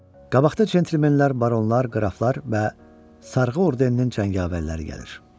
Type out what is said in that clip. Qabaqda centlmenlər, baronlar, qraflar və Sarğı ordeninin cəngavərləri gəlir.